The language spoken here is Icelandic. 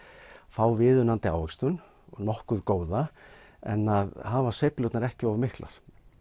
fá viðunandi ávöxtun nokkuð góða en að hafa sveiflurnar ekki of miklar